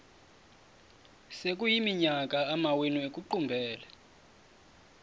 sekuyiminyaka amawenu ekuqumbele